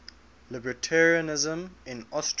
libertarianism in austria